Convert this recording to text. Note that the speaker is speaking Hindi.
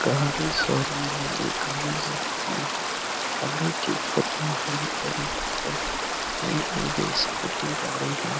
गाड़ी शोरूम है ये गाड़ी शोरूम में गाड़ी ठीक होता है और यहाँ पर ये एक स्कूटी गाड़ी है।